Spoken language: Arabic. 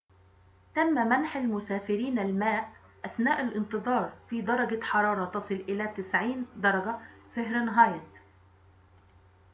تم منح المسافرين الماء أثناء الانتظار في درجة حرارة تصل إلى 90 درجة فهرنهايت